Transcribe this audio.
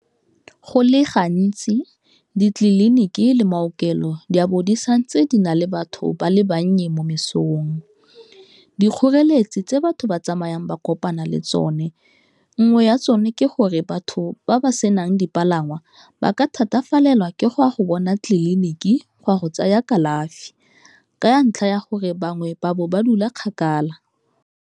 Go le gantsi ditleliniki le maokelo di a bo disantse di na le batho ba le bannye mo mesong, dikgoreletsi tse batho ba tsamayang ba kopana le tsone, nngwe ya tsone ke gore batho ba ba senang dipalangwa ba ka thatafalela ke go a go bona tleliniki go a go tsaya kalafi ka ntlha ya gore bangwe ba bo ba dula kgakala.